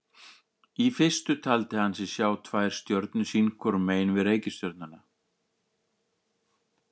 Í fyrstu taldi hann sig sjá tvær stjörnur hvor sínu megin við reikistjörnuna.